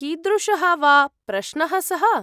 कीदृशः वा प्रश्नः सः?